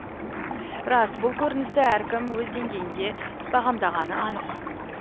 рас бұл көріністі әркім өз деңгейінде бағамдағаны анық